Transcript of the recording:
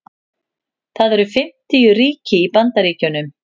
það eru fimmtíu ríki í bandaríkjunum